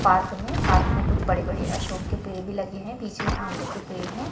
Park में park में कुछ बड़े बड़े अशोक के पेड़ भी लगे हैं बीच में आवले के पेड़ है।